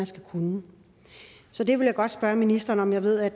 skal kunne så det vil jeg godt spørge ministeren om jeg ved at